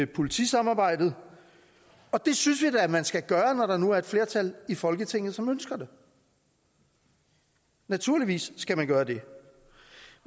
politisamarbejdet og det synes vi da man skal gøre når der nu er et flertal i folketinget som ønsker det naturligvis skal man gøre det